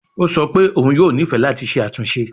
O sọ pe oun yoo nifẹ lati ṣe atunṣe